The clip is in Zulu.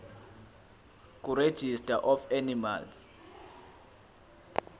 kuregistrar of animals